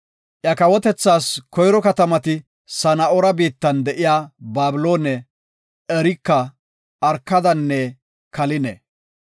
Iya kawotethaas koyro katamati Sana7oora biittan de7iya Babiloone, Ereka, Arkadanne Kaline.